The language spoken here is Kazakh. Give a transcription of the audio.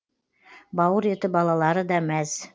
бауыр еті балалары да мәз